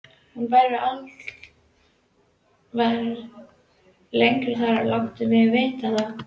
Hún verður aldrei lengi þar, láttu mig vita það.